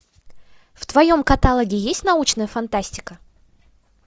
в твоем каталоге есть научная фантастика